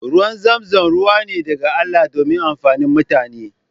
Ruwan zamzam ruwa ne daga Allah domin amfani mutane.